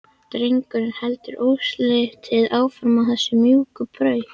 Drengurinn heldur óslitið áfram á þessari mjúku braut.